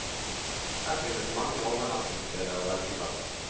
Her finnes mange overnattingssteder å velge blant.